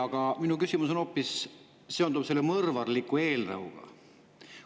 Aga minu küsimus on seotud hoopis selle mõrvarliku eelnõuga.